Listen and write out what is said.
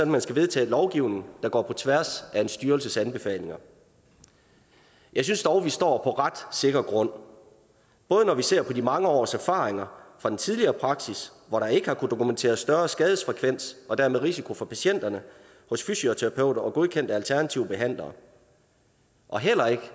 man skal vedtage lovgivning der går på tværs af en styrelses anbefalinger jeg synes dog at vi står på ret sikker grund både når vi ser på de mange års erfaringer fra den tidligere praksis hvor der ikke har kunnet dokumenteres større skadesfrekvens og dermed risiko for patienterne hos fysioterapeuter og godkendte alternative behandlere og